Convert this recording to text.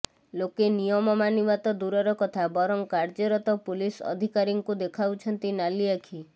ଲୋକେ ନିୟମ ମାନିବା ତ ଦୂରର କଥା ବରଂ କାର୍ଯ୍ୟରତ ପୁଲିସ୍ ଅଧିକାରୀଙ୍କୁ ଦେଖାଉଛନ୍ତି ନାଲିଆଖି